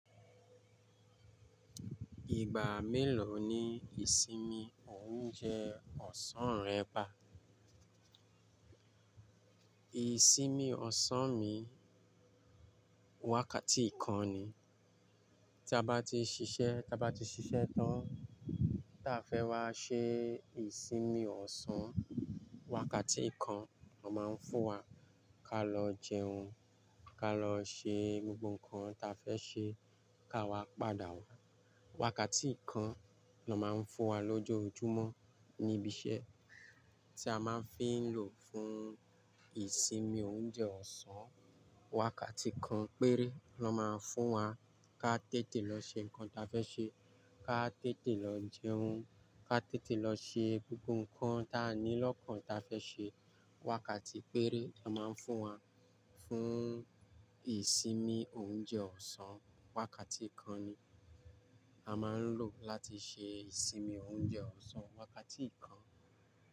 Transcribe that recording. Ìgbà mélòó ni ìsinmi oúnjẹ ọ̀sán rẹ bá? Ìsinmi ọ̀sán mi, wákàtí kan ni. Tí a bá ti ṣiṣẹ́, tí a bá ti ṣiṣẹ́ tán tí a fẹ́ wá ṣe ìsinmi ọ̀sán, wákàtí kan lọ máa ń fún wa ká lọ jẹun, ká lọ ṣe gbogbo nǹkan ta fẹ́ ṣe ká wá padà wá. Wákàtí kan lọ máa ń fún wa lọ́jọ́ ojúmọ́ níbi iṣẹ́ tí a máa ń fi ń lò fún ìsinmi oúnjẹ ọ̀sán. Wákàtí kan péré lọ máa ń fún wa ká tètè lọ ṣe nǹkan ta fẹ́ ṣe, ká tètè lọ jẹun, ká tètè lọ ṣe gbogbo nǹkan ta ni lọ́kàn ta fẹ́ ṣe. Wákàtí péré lọ máa ń fún wa fún ìsinmi oúnjẹ ọ̀sán. Wákàtí kan ni a máa ń lò láti ṣe ìsinmi oúnjẹ ọ̀sán. Wákàtí kan.